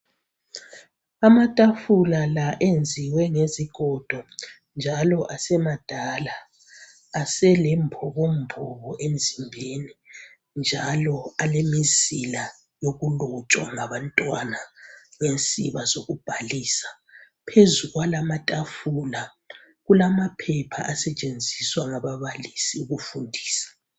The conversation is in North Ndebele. Amatafula la enziwe ngezigodo njalo asemadala aselembokomboko emzimbeni njalo alemizila yokulotshwa ngabantwana ngensiba zokubhalisa. Phezu kwalamatafula kulamaphepha asetshenziswa ngababalisi ukufundisa.